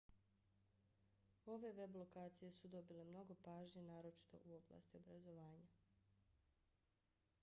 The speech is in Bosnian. ove web lokacije su dobile mnogo pažnje naročito u oblasti obrazovanja